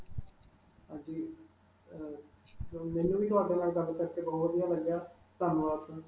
ਹਾਂਜੀ. ਅਅ ਮੈਨੂੰ ਵੀ ਤੁਹਾਡੇ ਨਾਲ ਗੱਲ ਕਰਕੇ ਬਹੁਤ ਵਧੀਆ ਲੱਗਾ. ਧੰਨਵਾਦ sir.